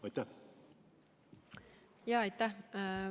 Aitäh!